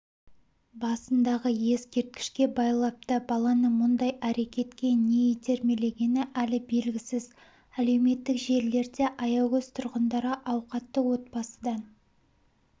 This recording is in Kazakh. басындағы ескерткішке байлапты баланы мұндай әрекетке неитермелегені әлі белгісіз әлеуметтік желілерде аягөз тұрғындары ауқатты отбасыдан